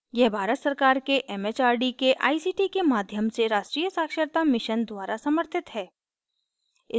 यह भारत सरकार के it it आर डी के आई सी टी के माध्यम से राष्ट्रीय साक्षरता mission द्वारा समर्थित है